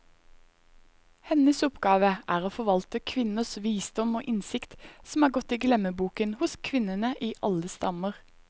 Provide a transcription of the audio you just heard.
Hennes oppgave er å forvalte kvinners visdom og innsikt, som er gått i glemmeboken hos kvinnene i alle stammer.